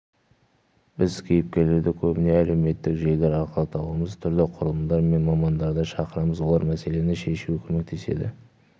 біз кейіпкерлерді көбіне әлеуметтік желілер арқылы табамыз түрлі құрылымдар мен мамандарды шақырамыз олар мәселені шешуге көмектеседі